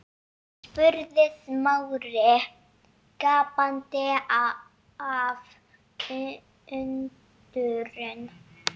spurði Smári gapandi af undrun.